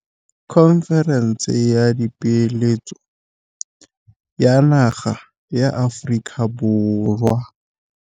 Khonferense ya Dipeeletso ya naga ya Aforika Borwa.